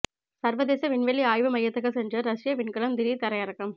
சர்வதேச விண்வெளி ஆய்வு மையத்துக்கு சென்ற ரஷ்ய விண்கலம் திடீர் தரையிறக்கம்